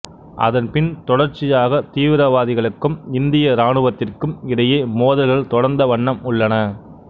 அதன் பின் தொடர்ச்சியாகத் தீவிரவாதிகளுக்கும் இந்திய இராணுவத்திற்கும் இடையே மோதல்கள் தொடர்ந்த வண்ணம் உள்ளன